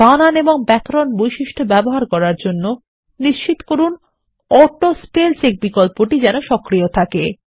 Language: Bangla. বানান এবং ব্যাকরণ বৈশিষ্ট্য ব্যবহার করার জন্যনিশ্চিত করুন অটো স্পেল চেকবিকল্পটিসক্রিয় রয়েছে